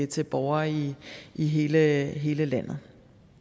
til borgere i i hele landet